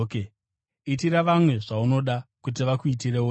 Itira vamwe zvaunoda kuti vakuitirewo iwe.